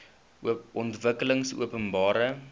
ontwikkelingopenbare